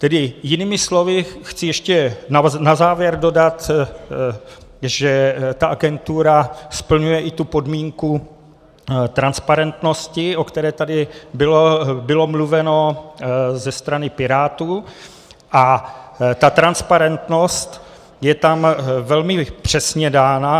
Tedy jinými slovy, chci ještě na závěr dodat, že ta agentura splňuje i tu podmínku transparentnosti, o které tady bylo mluveno ze strany Pirátů, a ta transparentnost je tam velmi přesně dána.